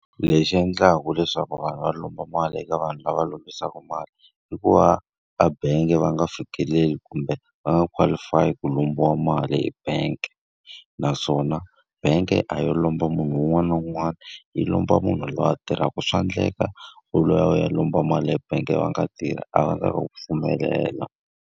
Lexi endlaka leswaku vanhu va lomba mali eka vanhu lava lombisaka mali, i ku va a bangi va nga fikeleli kumbe va nga qualify-i ku lombiwa mali e bank. Naswona bangi a yo lomba munhu un'wana na un'wana, yi lomba munhu loyi a tirhaka. Swa endleka u loya u ya lomba mali ebangi va nga tirhi, a va nga ta ku pfumelela.